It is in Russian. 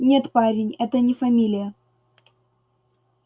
нет парень это не фамилия